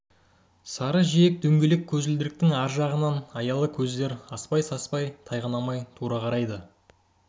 сары жиек дөңгелек көзілдіріктің ар жағынан аялы көздер аспай-саспай тайғанамай тура қарайды